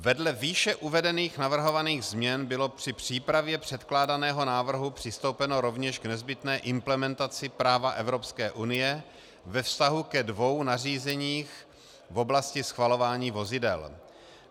Vedle výše uvedených navrhovaných změn bylo při přípravě předkládaného návrhu přistoupeno rovněž k nezbytné implementaci práva EU ve vztahu ke dvěma nařízením v oblasti schvalování vozidel.